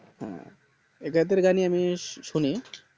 হ্যাঁ এদের গানই আমি শুনি